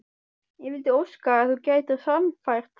Ég vildi óska að þú gætir sannfært þá